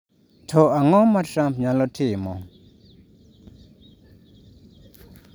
To ang’o ma Trump nyalo timo?